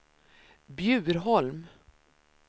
Bjurholm